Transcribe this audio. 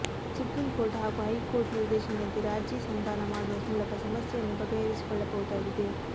supreme court ಹಾಗೂ high court ನಿರ್ದೇಶನದಂತೆ ರಾಜಿ ಸಂಧಾನ ಮಾಡುವ ಮೂಲಕ ಸಮಸ್ಯೆಯನ್ನು ಬಗೆಹರಿಸಿಕೊ ಳ್ಳಬಹುದಾಗಿದೆ